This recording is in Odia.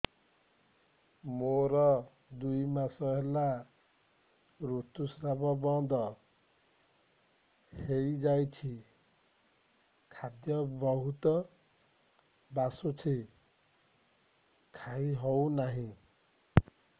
ମୋର ଦୁଇ ମାସ ହେଲା ଋତୁ ସ୍ରାବ ବନ୍ଦ ହେଇଯାଇଛି ଖାଦ୍ୟ ବହୁତ ବାସୁଛି ଖାଇ ହଉ ନାହିଁ